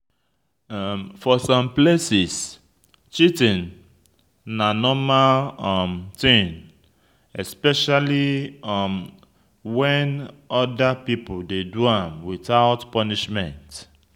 For some places, cheating na normal um thing especially um when oda people dey do am without punishment